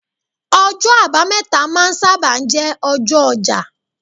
ọjọ abameta ma n saba jé ọjọ oja